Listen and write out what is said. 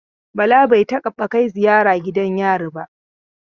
Bala bai taɓa kai ziyara gidan yari ba.